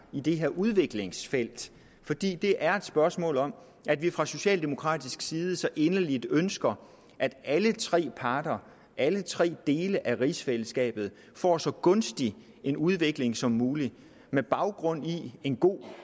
i det her udviklingsfelt fordi det er et spørgsmål om at vi fra socialdemokratisk side så inderligt ønsker at alle tre parter alle tre dele af rigsfællesskabet får så gunstig en udvikling som muligt med baggrund i en god